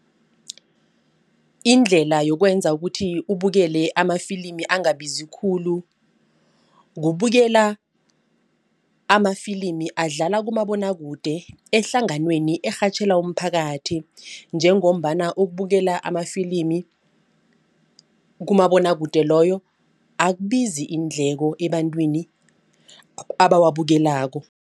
Indlela yokwenza ukuthi ubukele amafilimi angabazi khulu. Kubukela amafilimi adlala kumabonwakude ehlanganweni erhatjhela umphakathi. Njengombana ukubukela amafilimi kumabonwakude loyo akubizi iindleko ebantwini abawabukelako